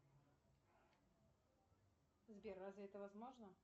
сбер разве это возможно